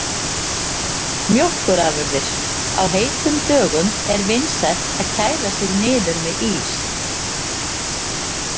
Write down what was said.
Mjólkurafurðir: Á heitum dögum er vinsælt að kæla sig niður með ís.